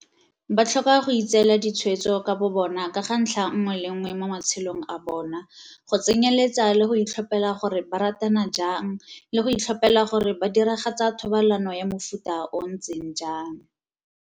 Ba tlhoka go itseela ditshwetso ka bobona ka ga ntlha nngwe le nngwe mo ma-tshelong a bona, go tsenyeletsa le go itlhophela gore ba ratana jang le go itlhophela gore ba diragatsa thobalano ya mofuta o o ntseng jang.